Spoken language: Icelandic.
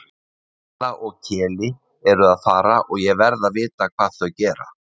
Kamilla og Keli eru að fara og ég verð að vita hvað þau gera